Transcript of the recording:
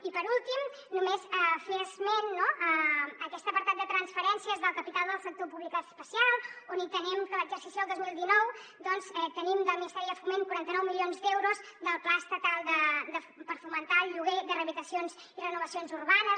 i per últim només fer esment no a aquest apartat de transferències del capital del sector públic especial on tenim que l’exercici del dos mil dinou doncs tenim del ministeri de foment quaranta nou milions d’euros del pla estatal per fomentar el lloguer de rehabilitacions i renovacions urbanes